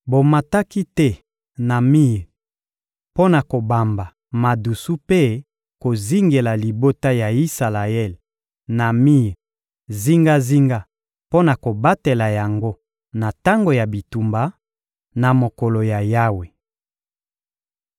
Bomataki te na mir mpo na kobamba madusu mpe kozingela libota ya Isalaele na mir zingazinga mpo na kobatela yango na tango ya bitumba, na mokolo ya Yawe.